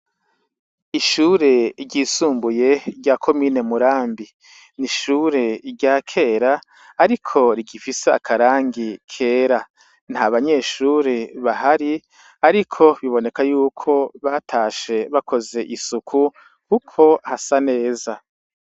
Ishure ryisumbuye rya komine Murambi. N'ishure rya kera ariko rigifise akarangi kera . Nta banyeshure bahari ariko biboneka yuko batashe bakoze isuku kuko hasa neza.